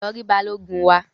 Lọ ri balogun wa!